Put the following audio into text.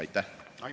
Aitäh!